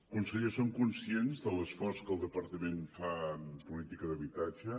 conseller som conscients de l’esforç que el departament fa en política d’habitatge